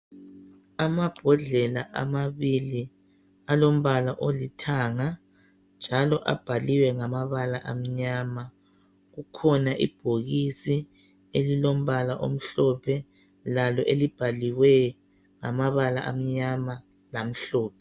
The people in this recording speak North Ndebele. Amabhodlela amabili alombala olithanga njalo abhaliwe ngamabala amnyama kukhona ibhokisi elilombala omhlophe Lalo elibhalwe ngamabala amnyama lamhlophe.